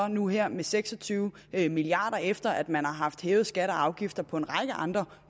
nu her med seks og tyve milliard kr efter at man har hævet skatter og afgifter på en række andre